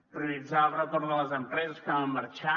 prioritzar el retorn de les empreses que van marxar